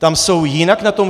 Tam jsou jinak na tom?